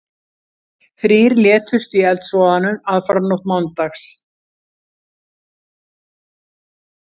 Þrír létust í eldsvoðanum aðfararnótt mánudags